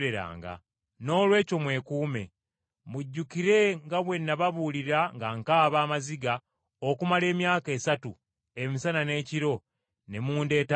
Noolwekyo mwekuume. Mujjukire nga bwe nababuulirira nga nkaaba amaziga okumala emyaka esatu, emisana n’ekiro, ne mundeeta n’amaziga.